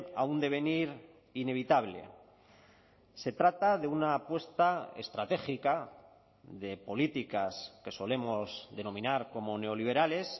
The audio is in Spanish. a un devenir inevitable se trata de una apuesta estratégica de políticas que solemos denominar como neoliberales